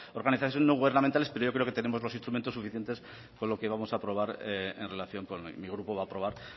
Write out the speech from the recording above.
organizaciones no gubernamentales pero yo creo que tenemos los instrumentos suficientes con lo que hoy vamos a probar en relación con mi grupo va a probar